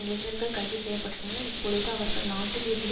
இளைஞர்கள் கைது செய்ய பட்டனர் இப்பொழுது அவர்கள் நாட்டில் இருந்து